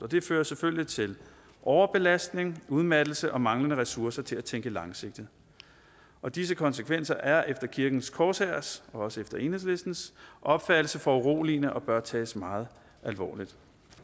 det fører selvfølgelig til overbelastning udmattelse og manglende ressourcer til at tænke langsigtet disse konsekvenser er efter kirkens korshærs og også efter enhedslistens opfattelse foruroligende og bør tages meget alvorligt